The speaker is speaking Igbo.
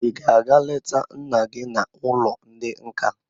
Ị ga-aga leta nna gị n'ụlọ ndị nka?